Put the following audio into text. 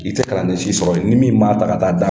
I tɛ kalanden si sɔrɔ yen ni min m'a ta ka taa da.